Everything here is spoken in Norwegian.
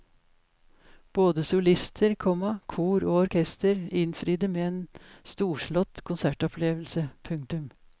Både solister, komma kor og orkester innfridde med en storslått konsertopplevelse. punktum